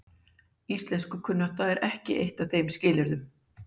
Íslenskukunnátta er ekki eitt af þeim skilyrðum.